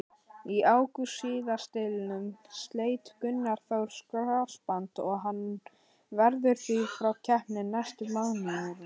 Í ágúst síðastliðnum sleit Gunnar Þór krossband og hann verður því frá keppni næstu mánuðina.